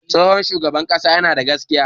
Tsohon shugaban ƙasa yana da gaskiya.